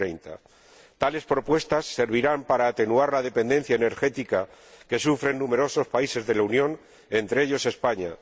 2030. Tales propuestas servirán para atenuar la dependencia energética que sufren numerosos países de la Unión, entre ellos España.